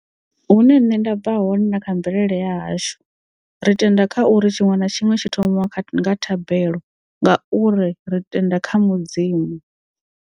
Hune nṋe nda bva hone na kha mvelele ya hashu ri tenda kha uri tshiṅwe na tshiṅwe tshi thomiwa kha nga thabelo ngauri ri tenda kha mudzimu.